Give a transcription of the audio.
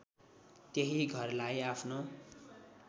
त्यही घरलाई आफ्नो